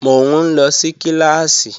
Mò ń lọ sí kíláàsì